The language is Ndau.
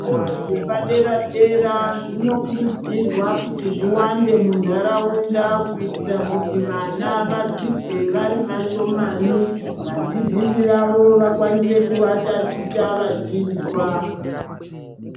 Zvikora zvepa dera dera zvinokurudzirwa kuti zviwande mundaraunda kuitira kuti vana vadzidze vari vashomani vadzidzisi vavo vakwanise kuvatachicha vachizwa.